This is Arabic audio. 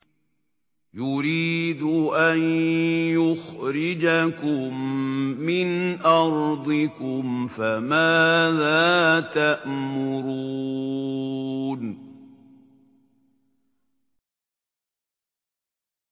يُرِيدُ أَن يُخْرِجَكُم مِّنْ أَرْضِكُمْ ۖ فَمَاذَا تَأْمُرُونَ